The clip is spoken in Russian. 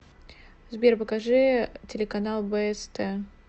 сбер покажи телеканал бст